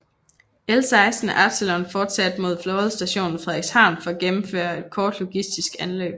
L16 Absalon fortsatte mod Flådestation Frederikshavn for at gennemføre et kort logistisk anløb